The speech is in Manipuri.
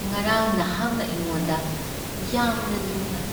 ꯉꯔꯥꯡ ꯅꯍꯥꯛꯅ ꯑꯩꯉꯣꯟꯗ ꯌꯥꯝꯅ ꯂꯨꯅ